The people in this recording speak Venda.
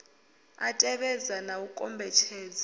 a tevhedzwa na u kombetshedzwa